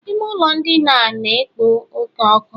Ime ụlọ ndina a na-ekpo oke ọkụ